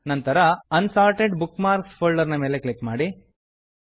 ನಂತರ unsorted bookmarks folder ನ ಮೇಲೆ ಕ್ಲಿಕ್ ಮಾಡಿ